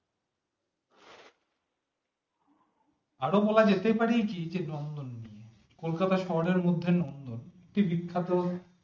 আরোও বলা যেতে পারে জি যে নন্দন নিয়ে কলকাতা শহরের মধ্যে নন্দন একটি বিখ্যাত